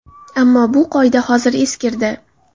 Ammo bu qoida hozir eskirdi.